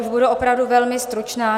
Už budu opravdu velmi stručná.